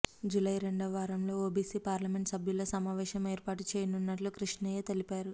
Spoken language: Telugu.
జూలై రెండవ వారంలో ఓబీసీ పార్లమెంటు సభ్యుల సమావేశం ఏర్పాటు చేయనున్నట్లు కృష్ణయ్య తెలిపారు